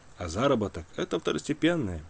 а заработок это второстепенно